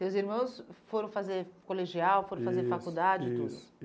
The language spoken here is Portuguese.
Teus irmãos foram fazer colegial, foram fazer faculdade e tudo? Isso, isso